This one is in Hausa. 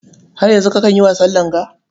Har yanzu kakan yi wasan langa?